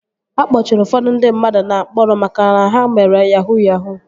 A kpọchiri ụfọdụ ndị mmadụ na mkpọrọ maka na ha mere yahuu yahuu